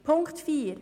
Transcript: Punkt 4